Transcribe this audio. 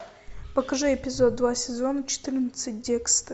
покажи эпизод два сезон четырнадцать декстер